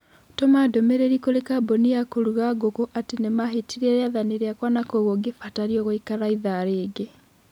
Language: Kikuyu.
Tũma ndũmĩrĩri kũrĩ kambũni ya kũruga ngũkũ atĩ nĩ mahĩtirie rĩathani rĩakwa na kwoguo ngĩbatario gũikara ithaa rĩngĩ.